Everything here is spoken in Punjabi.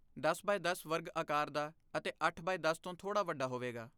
ਦਸ ਬਾਏ ਦਸ ਵਰਗ ਆਕਾਰ ਦਾ ਅਤੇ ਅੱਠ ਬਾਏ ਦਸ ਤੋਂ ਥੋੜ੍ਹਾ ਵੱਡਾ ਹੋਵੇਗਾ